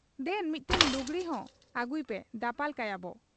ᱫᱮᱱ ᱢᱤᱫᱴᱟᱹᱝ ᱞᱩᱜᱽᱲᱤ ᱦᱚᱸ ᱟᱹᱜᱩᱭᱯᱮ ᱫᱟᱯᱟᱞ ᱠᱟᱭᱟ ᱵᱚ ᱾'